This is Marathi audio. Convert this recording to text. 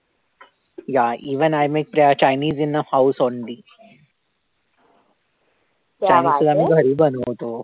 yeah even i make chinese in a house only